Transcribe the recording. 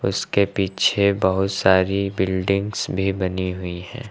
इसके पीछे बहुत सारी बिल्डिंग्स भी बनी हुई है।